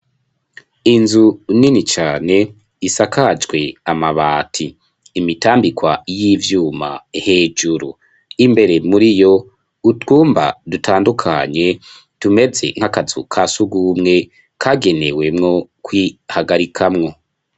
Inzu nini cane isakajwe amabati imitambikwa y'ivyuma hejuru imbere muri yo utwumba dutandukanye dumeze nk'akazuka si ugumwe kagenewemwo ko ihagarikamwo.